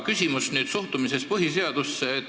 Küsimus on suhtumises põhiseadusesse.